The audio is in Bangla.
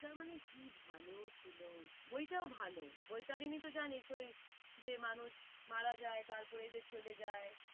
কি ভালো ছিল বইটাও ভালো বৈতারিনী তো জানিস ওই যে মানুষ মারা যায় তার পরে যে চলে যায়।